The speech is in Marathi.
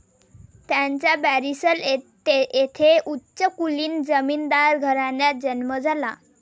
त्यांचा बॅरिसल येथे उच्चकुलीन जमीनदार घराण्यात जन्म झाला.